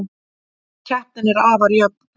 Keppnin er afar jöfn